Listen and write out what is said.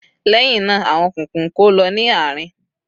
Lẹ́hinna, àwọn kùnkùn ń kó lọ ní àárín.